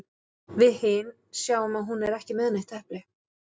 Við hin sjáum að hún er ekki með neitt epli.